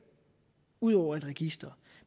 ud over med et register